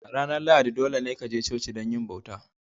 Ranar Lahadi dolene ka je coci don yi bauta.